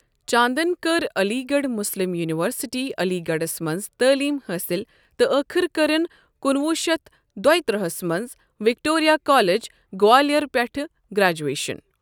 چانٛدن کٔر Aligarh Muslim university عٔلی گَڑھس منٛز تعلیٖم حٲصِل تہٕ ٲخٕر کٔرٕن کُنہٕ وُہ شتھ دۄیِہ ترٚہس منٛز وِکٹورِیہ کالیج، گوالِیار پیٹھہٕ گرٛیجویشن۔